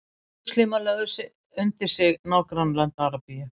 múslímar lögðu undir sig nágrannalönd arabíu